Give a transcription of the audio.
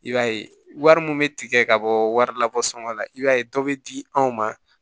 I b'a ye wari min bɛ tigɛ ka bɔ wari la bɔ sɔngɔ la i b'a ye dɔ bɛ di anw ma